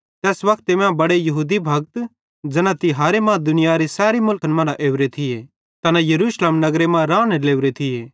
तैस वक्ते मां बड़े यहूदी भक्त ज़ैना तिहारे मां दुनियारी सैरी मुलखन मरां ओरे थिये तैना यरूशलेम नगरे मां राने लोरे थिये